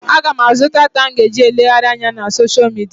Aga m àzú data m ga-eji elegharị anya na soshial midia.